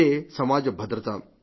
ఇదే సమాజ భద్రత